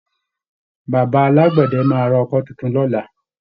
Baba alágbẹ̀dẹ máa rọ àwọn ọkọ́ tuntun lọ́la